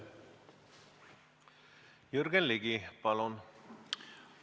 Jürgen Ligi, palun!